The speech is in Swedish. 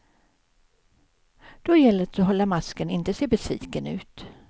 Då gäller det att hålla masken, inte se besviken ut.